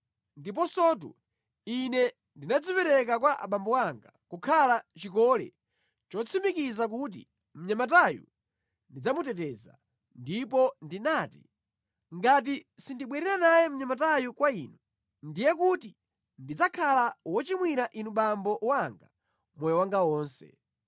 Ndiponsotu ine ndinadzipereka kwa abambo anga kukhala chikole chotsimikiza kuti mnyamatayu ndidzamuteteza, ndipo ndinati, ‘Ngati sindibwerera naye mnyamatayu kwa inu, ndiye kuti ndidzakhala wochimwira inu abambo anga moyo wanga wonse.’